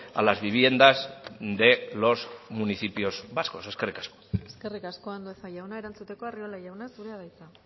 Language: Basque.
a las viviendas de los municipios vascos eskerrik asko eskerrik asko andueza jauna erantzuteko arriola jauna zurea da hitza